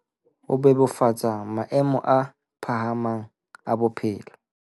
Ho bebofatsa maemo a phahamang a bophelo